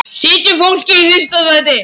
Setjum fólkið í fyrsta sæti.